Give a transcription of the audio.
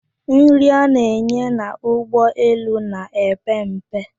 Nri a na-enye n'ụgbọ elu na-epe mpe.